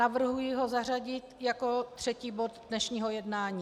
Navrhuji ho zařadit jako třetí bod dnešního jednání.